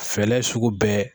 Fɛɛrɛ sugu bɛɛ